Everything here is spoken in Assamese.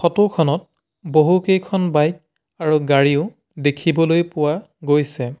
ফটো খনত বহু কেইখন বাইক আৰু গাড়ীও দেখিবলৈ পোৱা গৈছে।